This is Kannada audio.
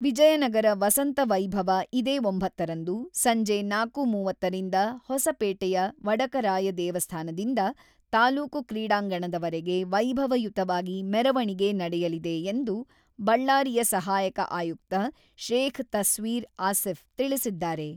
ವಿಜಯನಗರ ವಸಂತ ವೈಭವ ಇದೇ ಒಂಬತ್ತರಂದು, ಸಂಜೆ ನಾಲ್ಕು.ಮೂವತ್ತರಿಂದ ಹೊಸಪೇಟೆಯ ವಡಕರಾಯ ದೇವಸ್ಥಾನದಿಂದ ತಾಲೂಕು ಕ್ರೀಡಾಂಗಣದ ವರೆಗೆ ವೈಭವಯುತವಾಗಿ ಮೆರವಣಿಗೆ ನಡೆಯಲಿದೆ ಎಂದು, ಬಳ್ಳಾರಿಯ ಸಹಾಯಕ ಆಯುಕ್ತ ಶೇಖ್ ತಸ್ವೀರ್ ಅಸೀಫ್ ತಿಳಿಸಿದ್ದಾರೆ.